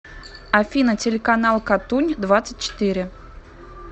афина телеканал катунь двадцать четыре